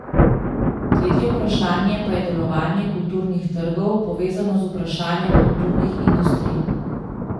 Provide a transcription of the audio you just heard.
Tretje vprašanje pa je delovanje kulturnih trgov, povezano z vprašanjem kulturnih industrij.